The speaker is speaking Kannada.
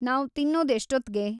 ನಾವ್ ತಿನ್ನೋದ್‌ ಎಷ್ಟೊತ್ತ್ಗೆ